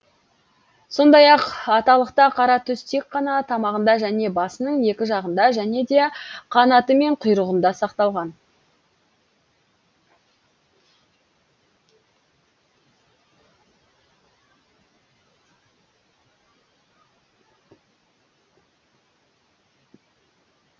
сондай ақ аталықта қара түс тек қана тамағында және басының екі жағында және де қанаты мен құйрығында сақталған